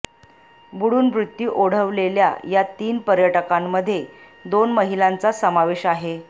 बुडून मृत्यू ओढवलेल्या या तीन पर्यटकांमध्ये दोन महिलांचा समावेश आहे